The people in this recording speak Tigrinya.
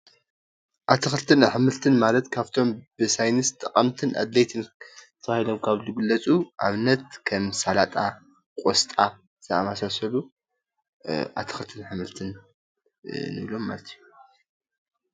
ኣትኽልትን ኣሕምልትን ማለት ኻፍቶም ብሳይነስ ጠቀምትን አድለይትን ተባሂሎም ካብ ዝግለፁ ኣብነት ከም ሰላጣ፣ ቆስጣ ዝበሉ ኣትኽልትን ኣሕምልትን እዮም።